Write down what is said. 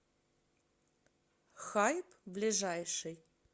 хайп ближайший